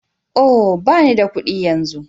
Oh! ɓani da kuɗi yanzu.